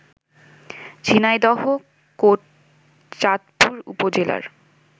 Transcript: ঝিনাইদহ কোটচাঁদপুর উপজেলার